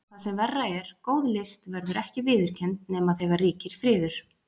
Og það sem verra er, góð list verður ekki viðurkennd nema þegar ríkir friður.